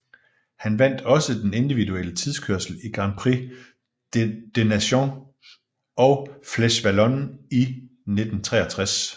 Han vandt også den individuelle tidskørsel i Grand Prix des Nations og Flèche Wallonne i 1963